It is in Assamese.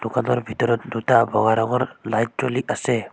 দোকানৰ ভিতৰত দুটা বগা ৰঙৰ লাইট জ্বলি আছে।